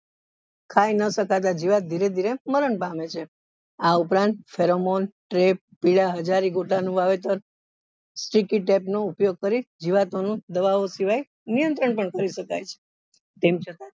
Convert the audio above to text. ખાઈ ન શકતા જીવાત ધીરે ધીરે મરણ પામે છે આ ઉપરાંત સર્મોલ પીળા હજારી ગોટા નું વાવેતર નો ઉપયોગ કરી જીવાતો નું દવાઓ સિવાય નિયંત્રણ પણ કરી શકાય છે